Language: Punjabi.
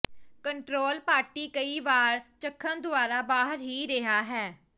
ਕੰਟਰੋਲ ਪਾਰਟੀ ਕਈ ਵਾਰ ਚਖਣ ਦੁਆਰਾ ਬਾਹਰ ਹੀ ਰਿਹਾ ਹੈ